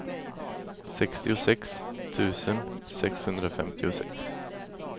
sextiosex tusen sexhundrafemtiosex